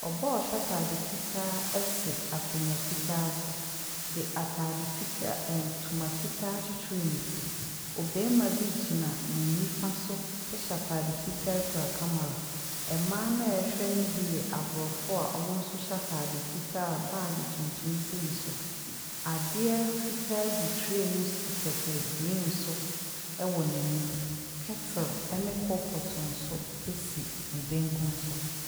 Ɔbaa a ɔhyɛ ataade fitaa ɛte akonwa fitaa so de ntoma fitaa akyikyiri ne ti. Ɔbɛrima bi gyina ne nifa so ɛhyɛ ataade fitaa kura kamara. Mmaa a ɛhwɛ ne bi yɛ aborɔfo a wɔn mo nso hyɛ ataade fitaa a bagi tuntum si ne so. Adeɛ fitaa gu tree mu si kɛtɛ griin so ɛwɔ n'anim. Kɛtel ne kopɔt nso asi ne benkum so.